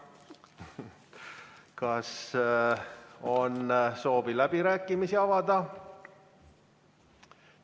Kas on soovi avada läbirääkimised?